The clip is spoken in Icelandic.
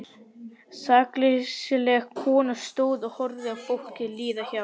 Sakleysisleg kona stóð og horfði á fólkið líða hjá.